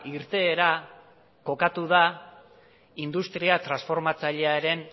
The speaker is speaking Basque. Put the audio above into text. irteera kokatu da industria transformatzailearen